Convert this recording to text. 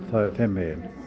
þeim megin